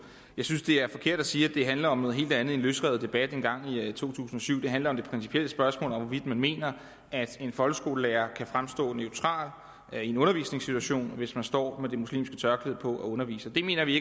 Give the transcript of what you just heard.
jeg synes det er forkert at sige at det handler om noget helt andet en løsrevet debat fra en gang i to tusind og syv det handler om det principielle spørgsmål hvorvidt man mener at en folkeskolelærer kan fremstå neutral i en undervisningssituation hvis vedkommende står med det muslimske tørklæde på og underviser det mener vi i